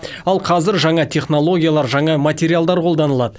ал қазір жаңа технологиялар жаңа материалдар қолданылады